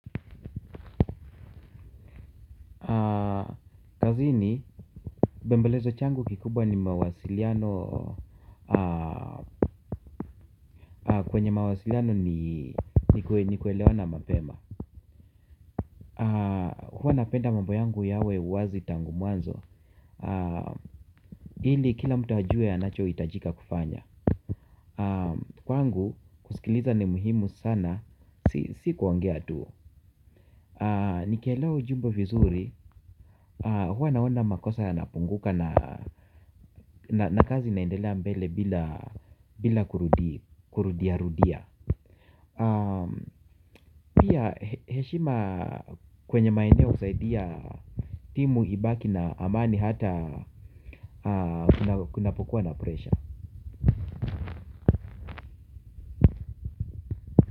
Kazini, bembelezo changu kikubwa ni mawasiliano, kwenye mawasiliano ni kuelewana mapema. Huwa napenda mambo yangu yawe wazi tangu mwanzo, ili kila mtu ajue anacho hitajika kufanya. Kwangu, kusikiliza ni muhimu sana, si kuongea tu. Nikielewa ujumbe vizuri, huwa naona makosa ya napunguka na kazi naendelea mbele bila kurudia rudia. Pia heshima kwenye maeneo husaidia timu ibaki na amani hata kunapokuwa na presha.